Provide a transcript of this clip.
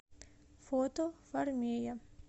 фото фармея